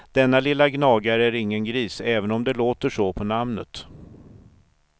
Denna lilla gnagare är ingen gris även om det låter så på namnet.